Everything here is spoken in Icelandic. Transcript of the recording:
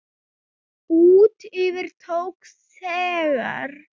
Út yfir tók þegar